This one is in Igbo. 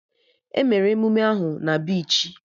Emere emụme ahụ na bichi